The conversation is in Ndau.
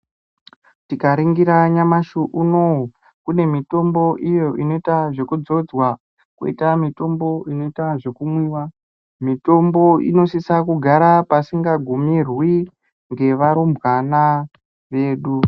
Tikaringira nyamashi unouyu kune mitombo iyo inoita zvekudzodzwa koita mitombo inoita zvekumwiva. Mitombo inosisa kugara pasinga gumirwi ngevarumbwana vedu.